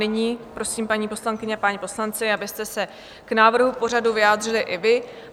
Nyní prosím, paní poslankyně a páni poslanci, abyste se k návrhu pořadu vyjádřili i vy.